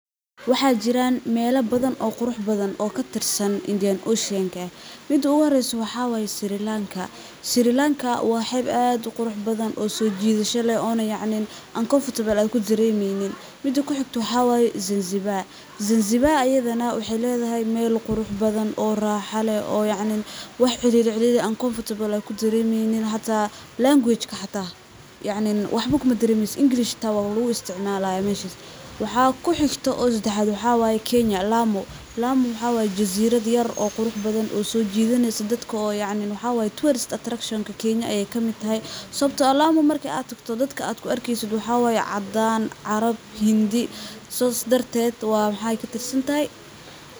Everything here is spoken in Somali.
Waxaa jiran mela badhan oo qurux badhan oo katirsan indian oshenka, Midi uguhoreyso waxaa waye Sri lanka, Sri lanka wa xeb ad u qurux badhan oo so jidasho leh oo na yacni uncomfortable kudaremeynin, mida kuxigto waxaa waye Zanzibar, Zanzibar ayadha na waxay ledahay mel ad u qurux badhan, raxo leh , yacni wax ciriri uncomfortable ad kudaremeynin, language xita waxba kumadaremeysid, English wa luguisticmalayaa meshas. Waxaa kuxigto sedaxad waxaa waye Kenya, Lamu , Lamu wa jazirad yar qurux badhan, oo sojidaneyso dadka yaacn tourist attraction-ka Kenya ay kamid tahay, sababto ah Lamu marki ad tagto dadki ad kuarkeysid waxaa waye cadan, carab, hindi sas darted wa maxay katirsantahay.